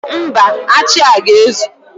Mba, achị a ga-ezu.